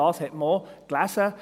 Davon hat man auch gelesen.